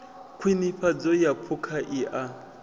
khwinifhadzo ya phukha i a